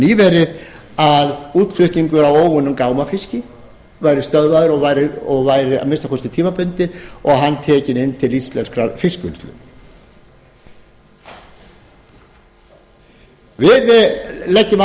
nýverið að útflutningur á óunnum gámafiski væri stöðvaður og væri að minnsta kosti tímabundið og hann tekinn inn til íslenskrar fiskvinnslu við leggjum